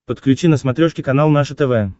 подключи на смотрешке канал наше тв